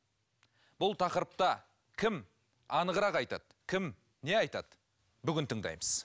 бұл тақырыпта кім анығырақ айтады кім не айтады бүгін тыңдаймыз